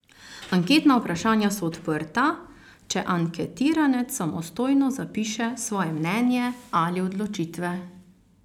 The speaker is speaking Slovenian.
Anketna vprašanja so odprta, če anketiranec samostojno zapiše svoje mnenje ali odločitve.